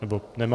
Nebo nemá?